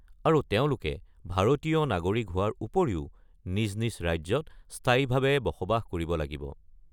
আৰু তেওঁলোকে ভাৰতীয় নাগৰিক হোৱাৰ উপৰিও নিজ নিজ ৰাজ্যত স্থায়ীভাৱে বসবাস কৰিব লাগিব।